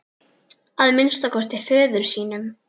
Að minnsta kosti föður sínum.